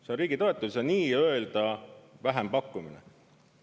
See on riigi toetus ja nii-öelda vähempakkumine.